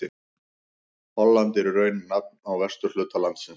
Holland er í raun nafn á vesturhluta landsins.